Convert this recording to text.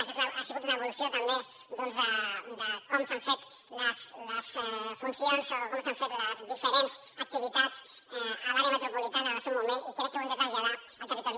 això ha sigut una evolució també doncs de com s’han fet les funcions o com s’han fet les diferents activitats a l’àrea metropolitana en el seu moment i crec que ho hem de traslladar al territori